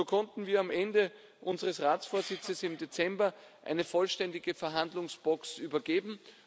So konnten wir am Ende unseres Ratsvorsitzes im Dezember eine vollständige Verhandlungsbox übergeben.